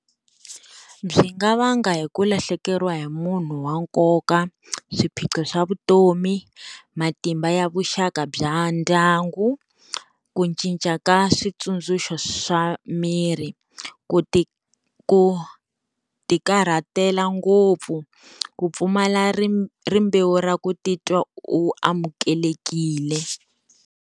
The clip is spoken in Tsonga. Byi nga vanga hi ku lahlekeriwa hi munhu wa nkoka, swiphiqo swa vutomi, matimba ya vuxaka bya ndyangu, ku cinca ka switsundzuxo swa miri, ku ti ku tikarhatela ngopfu, ku pfumala ri rimbewu ra ku titwa u amukelekile.